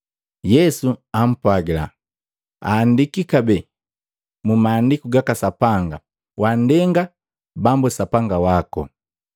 Yesu ampwagila, “Aandiki kabee mu Maandiku gaka Sapanga, ‘Wandenga Bambu, Sapanga wako.’ ”